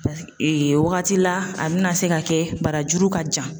wagati la a bina se ka kɛ barajuru ka jan